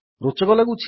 ରୋଚକ ଲାଗୁଛି